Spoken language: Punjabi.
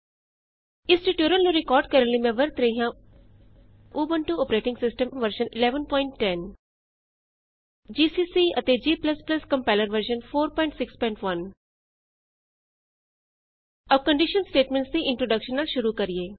ਇਸ ਟਯੂਟੋਰਿਅਲ ਨੂੰ ਰਿਕਾਰਡ ਕਰਨ ਲਈ ਮੈਂ ਵਰਤ ਰਹੀ ਹਾਂ Ubuntu operating system version 1110 Ubuntu operating system version 1110 GCC ਅਤੇ g ਕੰਪਾਇਲਰ ਵਰਜ਼ਨ 461 ਆਉ ਕੰਡੀਸ਼ਨ ਸਟੇਟਮੈਂਟਸ ਦੀ ਇੰਟਰੋਡੇਕਸ਼ਨ ਨਾਲ ਸ਼ੁਰੂ